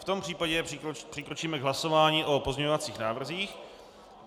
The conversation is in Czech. V tom případě přikročíme k hlasování o pozměňovacích návrzích.